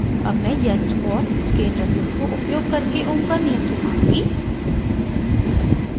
ohm मैं यंत्र और इसके interface को उपयोग करके ohm का नियम दिखाऊँगी